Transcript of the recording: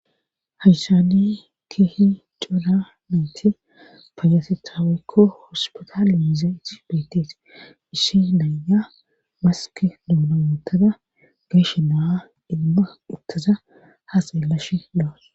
Hayshani kihi cora meyti fayasetaawekko hospitaaliiza itti beettees ishi naaya maski doonamootada gashe naa ilma uttaza ha xeelash dawus.